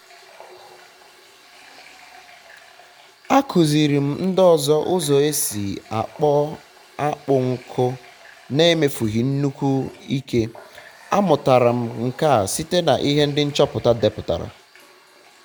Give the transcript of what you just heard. akụziri m ndị ọzọ ụzọ esi akpọ akpụ nkụ na-emefughi nnukwu ike. a mụtara m nke a site na ihe ndị nchọpụta deputara